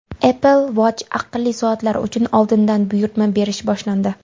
Apple Watch aqlli soatlari uchun oldindan buyurtma berish boshlandi.